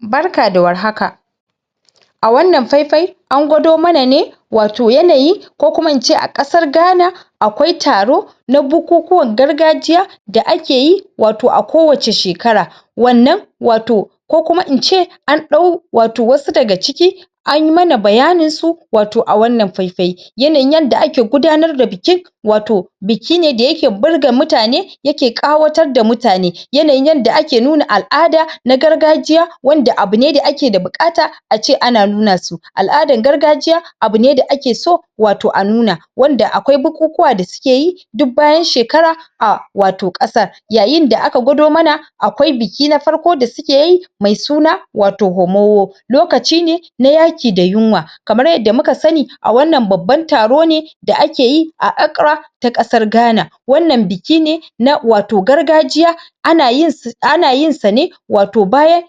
Barka da war haka, a wannan fai-fai an gwado mana ne wato yanayin ko kuma ince a ƙasar Ghana akawi taro na bukukuwan gargajiya da akeyi wato a kowace shekara wannan, wato ko kuma ince an ɗau wato wasu daga ciki anyi mana bayanin su wato a wannan fai-fai yanayin yadda ake gudanar da bikin wato biki ne da yake burga mutane yake ƙawatar da mutane yanayin yadda ake nuna al'ada na gargajiya wanda abune da ake da buƙata a ce ana nuna su al'adar gargajiya abu ne da ake so wato a nuna wanda akwai bukukuwa da suke yi duk bayan shekara a wato ƙasar. Yayinda aka gwado mana akwai biki na farko da suke yi mai suna wato homoho. lokaci ne na yaki da yunwa kamar yadda muka sani a wannan babban taro ne da akeyi a accra ta ƙasar Ghana wannan biki ne na wato gargajiya ana yin ana yinsa ne wato bayan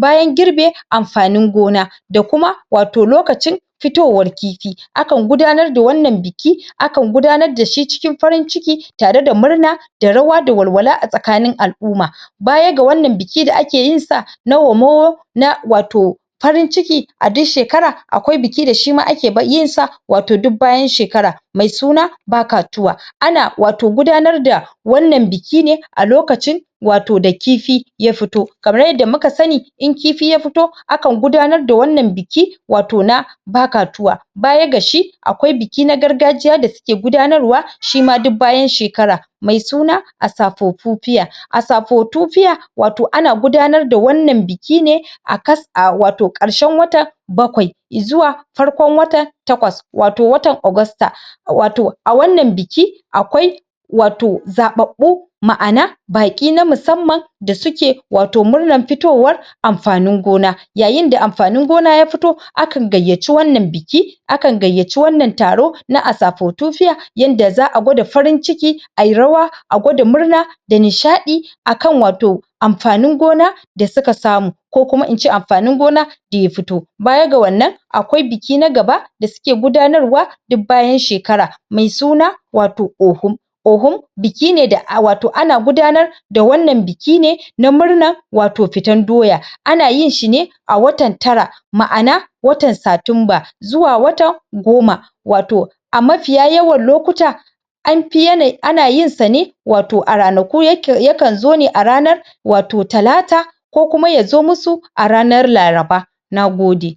bayan girbe amfanin gona da kuma wato lokacin fitowar kifi, akan gudanar da wannan biki akan gudanar da shi cikin farin ciki tare da murna da rawa da walwala a tsakanin al'uma baya da wanna biki da ake yinsa na homoho, na wato farin ciki a duk shekara akwai biki da shima ake yinsa wato duk bayan shekara. Mai suna bakatuwa ana wato gudanar da wannan biki ne a lokacin wato da kifi ya fito. Kamar yadda muka sani in kifi ya fito akan gudanar da wannan biki wato na bakatuwa. Baya ga shi akwai biki na gargajjiya da suke gudanar wa shima duk bayan shekara mai suna asapopupiya asapotupiya wato ana gudanar da wannan biki ne a em wato ƙarshen watan bakwai izuwa farkon watan takwas wato watan agusta wato a wannan biki akwai wato zaɓaɓu ma'ana baƙi na musamman da suke wato murnan fitowar amfanin gona Yayinda ampanin gona ya fito akan gayyaci wannan biki akan gayyaci wannan taro na asapotufiya yanda za'a gwada farin ciki ayi rawa a gwada murna da nishaɗi akan wato ampanin gona da suka samu ko kuma ince amfanin gona daya fito. Baya ga wannan akwai biki na gaba da suke gudanar wa duk bayan shekara, mai suna wato ohun Ohun biki ne da wato ana gudanar da wannan biki ne na murnan wato fitan doya, ana yinshi ne a watan tara, ma'ana watan satumba zuwa watan goma wato a mafiya yawan lokuta an pi em ana yinsa ne wato a ranaku yakan yakan zo ne a ranar wato talata ko kuma yazo musu a ranar laraba, nagode.